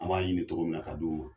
An b'a ɲini togo min na ka d'o ma.